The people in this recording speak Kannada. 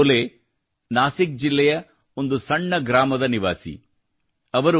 ಶಿವಾಜಿ ಡೋಲೆ ಅವರು ನಾಸಿಕ್ ಜಿಲ್ಲೆಯ ಒಂದು ಸಣ್ಣ ಗ್ರಾಮದ ನಿವಾಸಿಗಳು